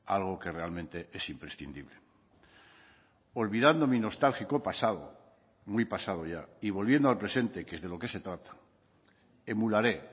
algo que realmente es imprescindible olvidando mi nostálgico pasado muy pasado ya y volviendo al presente que es de lo que se trata emularé